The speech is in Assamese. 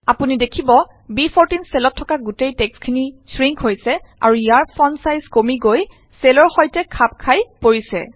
আপুনি দেখিব ব14 চেলত থকা গোটেই টেক্সটখিনি শ্ৰিংক হৈছে আৰু ইয়াৰ ফন্ট ছাইজ কমি গৈ চেলৰ সৈতে খাপ খাই পৰিছে